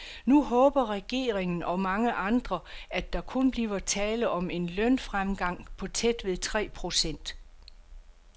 Nu håber regeringen og mange andre, at der kun bliver tale om en lønfremgang på tæt ved tre procent.